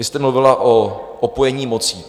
Vy jste mluvila o opojení mocí.